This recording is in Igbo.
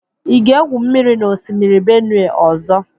Ị ga-egwù mmiri n'osimiri Benue ọzọ?